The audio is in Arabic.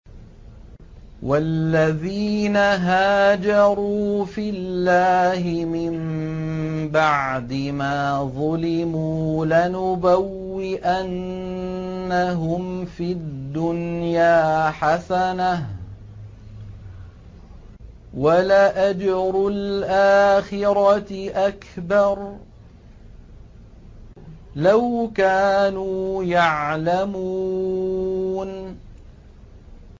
وَالَّذِينَ هَاجَرُوا فِي اللَّهِ مِن بَعْدِ مَا ظُلِمُوا لَنُبَوِّئَنَّهُمْ فِي الدُّنْيَا حَسَنَةً ۖ وَلَأَجْرُ الْآخِرَةِ أَكْبَرُ ۚ لَوْ كَانُوا يَعْلَمُونَ